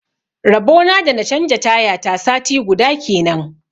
Rabona da na canja taya ta sati guda kenan.